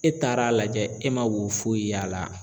E taara a lajɛ e ma wo foyi y'a la.